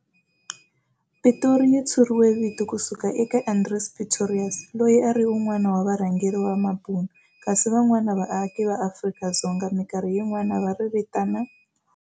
Pitori yi tshuriwe vito ku suka eka Andries Pretorius, loyi a a ri un'wana wa va rhangeri va mabunu, kasi van'wana vaaki va Afrika-Dzonga mikarhi yin'wana va ri vitana